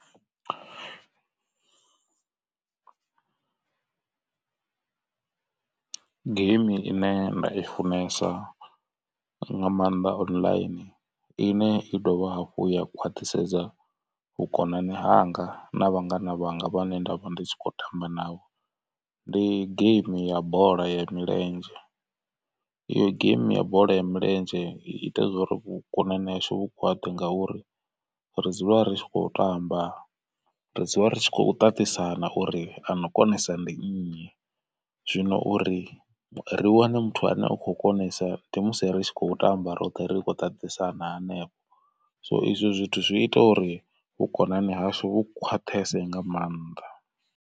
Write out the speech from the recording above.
Geimi ine nda i funesa nga maanḓa online ine i dovha hafhu ya khwaṱhisedza vhukonani hanga na vhangana vhanga vhane nda vha ndi tshi kho tamba navho. Ndi game ya bola ya milenzhe, iyo game ya bola ya milenzhe i ita uri vhukonani hashu vhu khwaṱhe ngauri ri dzula rikho tamba. Ri dzula ri tshi khou ṱaṱisana uri ano konesa ndi nnyi zwino uri ri wane muthu ane u khou konesa ndi musi ri tshi khou tamba roṱhe ri khou ṱaṱisana hanefho so izwo zwithu zwi ita uri vhukonani hashu vhu khwaṱhese nga maanḓa.